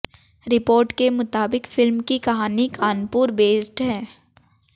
report के मुताबिक film की कहानी कानपुर बेस्ड है